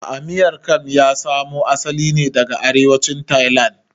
A'a Miang kam ya samo asali ne daga arewacin tailand